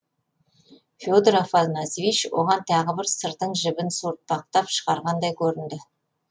феодор афанасьевич оған тағы бір сырдың жібін суыртпақтап шығарғандай көрінді